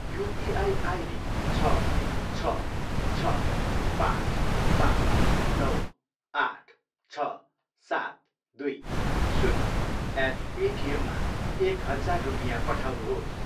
UPI ID छ, छ, छ, पाँच, पाँच, नौ, आठ, छ, सात, दुई, शून्य एट पेटिएममा एक हजार रुपियाँ पठाउनुहोस्।